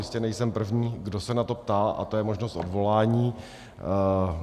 Jistě nejsem první, kdo se na to ptá, a to je možnost odvolání.